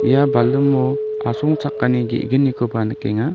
ia balimo asongchakani ge·gnikoba nikenga.